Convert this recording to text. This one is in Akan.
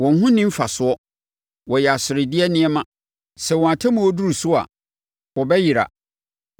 Wɔn ho nni mfasoɔ, wɔyɛ aseredeɛ nneɛma; sɛ wɔn atemmuo duru so a, wɔbɛyera.